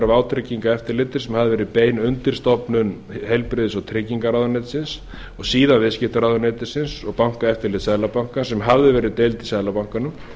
vátryggingareftirlitið sem hafði verið bein undirstofnun heilbrigðis og tryggingaráðuneytisins og síðan viðskiptaráðuneytisins og bankaeftirlits seðlabankans sem hafði verið deild í seðlabankanum